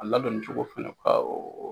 A ladonni cogo fɛnɛ, bawo